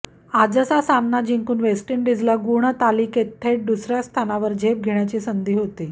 आजचा सामना जिंकून वेस्ट इंडिजला गुणतालिकेत थेट दुसऱ्या स्थानावर झेप घेण्याची संधी होती